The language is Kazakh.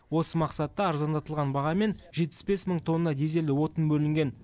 осы мақсатта арзандатылған бағамен жетпіс бес мың тонна дизельді отын бөлінген